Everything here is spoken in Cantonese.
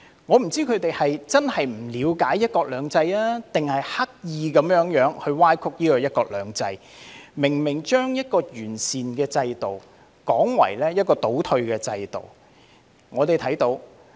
我不知道他們是真的不了解"一國兩制"，還是刻意歪曲"一國兩制"，把一個明明是完善的制度說成倒退的制度。